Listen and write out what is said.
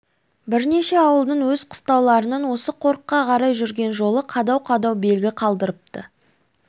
бірнеше ауылдың өз қыстауларынан осы қорыққа қарай жүрген жолы қадау-қадау белгі қалдырыпты